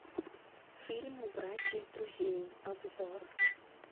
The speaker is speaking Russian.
фильм убрать из друзей обзор